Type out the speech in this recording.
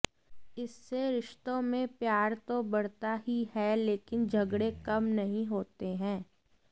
इससे रिस्तो में प्यार तो बढ़ता ही है लेकिन झगडे कम नहीं होते है